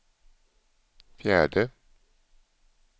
fjärde